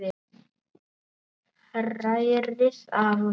Hrærið af og til.